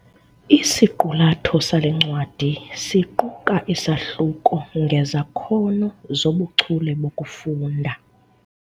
Isiqulatho sale ncwadi siquka isahluko ngezakhono zobuchule bokufunda.